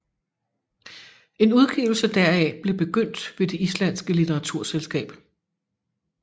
En udgivelse deraf blev begyndt ved det islandske litteraturselskab